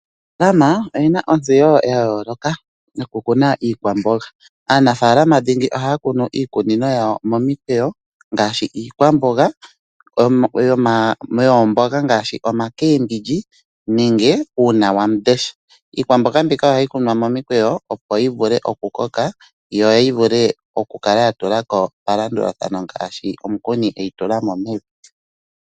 Aanafalama oye na ontseyo yayolokathana yo kukuna iikwamboga. Aanafalama dhingi ohaa kunu iikunino yawo momikweyo ngaashi iikwamboga yoomboga dhuushimba nenge uunawamundesha, iikwambonga mbika ohayi kunwa momikweyo opo yi vule okukoka yo yi vule okukala yatulako palandulathano ngaashi omukuni eyi tulamo mevi.